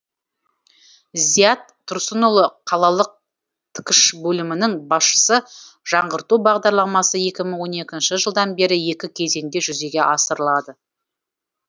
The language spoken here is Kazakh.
зият тұрсынұлы қалалық ткш бөлімінің басшысы жаңғырту бағдарламасы екі мың он екінші жылдан бері екі кезеңде жүзеге асырылады